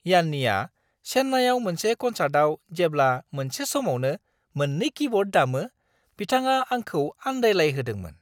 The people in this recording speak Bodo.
यान्नीआ चेन्नाईआव मोनसे कनसार्टआव जेब्ला मोनसे समावनो मोन 2 कीब'र्ड दामो बिथाङा आंखौ आन्दायलायहोदोंमोन।